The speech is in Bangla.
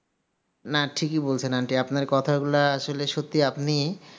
না ঠিকি বলছেন aunty আপনার কথাগুলা আসলে সত্যি আপনি